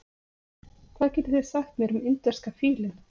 Hvað getið þið sagt mér um indverska fílinn?